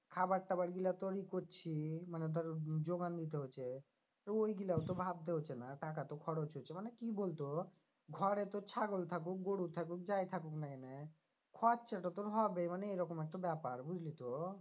খাবার-টাবার গুলা তোর ই করছি মানে ধর যোগান দিতে হচ্ছে তো ঐগুলাও তো ভাবতে হচ্ছে না টাকা তো খরচ হচ্ছে, মানে কি বলতো ঘরে তোর ছাগল থাকুক গরু থাকুক যাই থাকুক না কেনে খরচাটা তোর হবেই মানে এরকম একটা ব্যাপার বুঝলি তো?